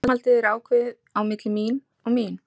Framhaldið er ákveðið á milli mín og mín.